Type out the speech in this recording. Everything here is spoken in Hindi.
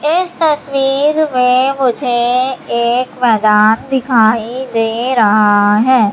इस तस्वीर में मुझे एक मैदान दिखाई दे रहा है।